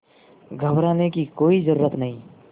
घबराने की कोई ज़रूरत नहीं